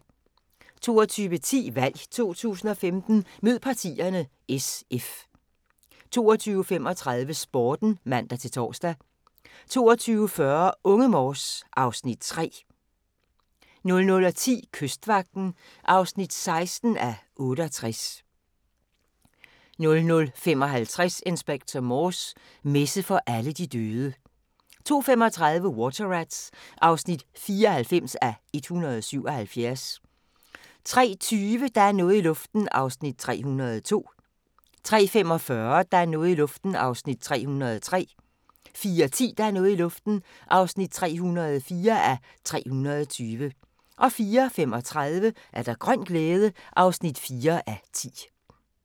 22:10: VALG 2015: Mød Partierne: SF 22:35: Sporten (man-tor) 22:40: Unge Morse (Afs. 3) 00:10: Kystvagten (16:68) 00:55: Inspector Morse: Messe for alle de døde 02:35: Water Rats (94:177) 03:20: Der er noget i luften (302:320) 03:45: Der er noget i luften (303:320) 04:10: Der er noget i luften (304:320) 04:35: Grøn glæde (4:10)